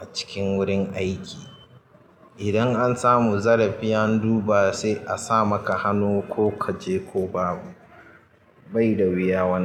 a cikin wurin aiki. Idan an samu zarafi an duba sai a sa maka hannu ko ka je ko babu. Bai da wuya wannan.